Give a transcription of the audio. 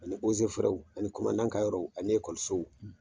Ani ani ka yɔrɔ ani ekɔlisow